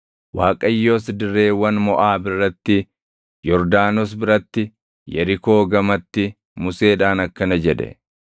Waaqayyos dirreewwan Moʼaab irratti, Yordaanos biratti, Yerikoo gamatti Museedhaan akkana jedhe;